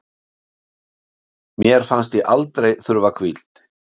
Mér fannst ég aldrei þurfa hvíld